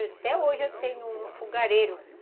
Até hoje eu tenho um fogareiro.